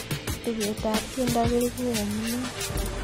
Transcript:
tuket ap tiendo koibu eng iman